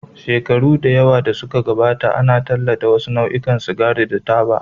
Shekaru da yawa da suka gabata, an tallata wasu nau'ikan sigari da taba.